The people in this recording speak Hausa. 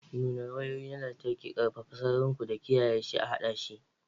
Nuna wayoyi na lantarki, ƙarfafa sararin ku da kiyaye shi a haɗa shi